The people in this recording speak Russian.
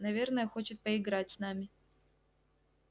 наверное хочет поиграть с нами